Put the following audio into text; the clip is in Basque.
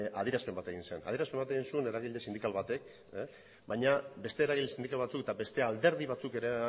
han adierazpen bat egin zen adierazpen bat egin zuen eragile sindikal batek baina beste eragile sindikal batzuk eta beste alderdi batzuk ere